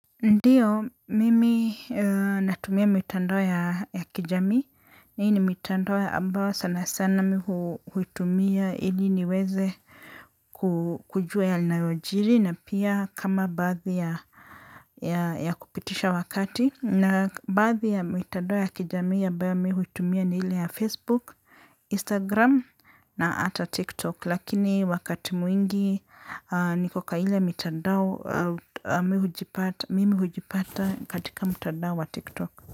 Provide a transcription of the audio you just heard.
Ndiyo, mimi natumia mitandao ya kijamii, hii ni mitandoa ambao sana sana mimi huitumia ili niweze kujua yanayojiri na pia kama baadhi ya kupitisha wakati. Na baadhi ya mitandao ya kijami ambayo mimi huitumia ni ile ya Facebook, Instagram na hata TikTok. Lakini wakati mwingi niko kwa ile mitadao mimi hujipata katika mtadao wa TikTok.